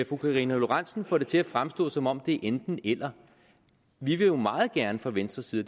fru karina lorentzen dehnhardt får det til at fremstå som om det er enten eller vi vil jo meget gerne fra venstres side